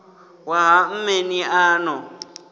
wa ha mmeni a no